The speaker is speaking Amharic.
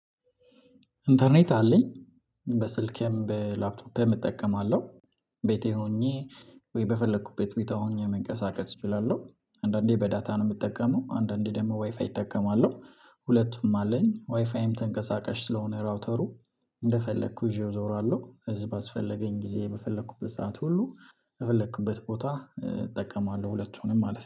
ኢንተርኔት አለኝ በስልኬም በላፕቶፔም እጠቀማለሁ። ቤቴ ሆኜ ወይ በፈለኩበት ቦታ ሆኜ መንቀሳቀስ እችላለሁ። አንዳንዴ በዳታ ነው ምጠቀመው አንዳንዴ ደግሞ ዋይፋይ እጠቀማለሁ። ሁለቱም አለኝ ዋይፋይም ተንቀሳቃሽ ስለሆነ ራውተሩ እንደፈለኩ ይዤው እዞራለሁ። እዝ ባስፈለገኝ ጊዜ በፈለኩበት ሰዓት ሁሉ በፈለክበት ቦታ እጠቀማለሁ ሁለቱንም ማለት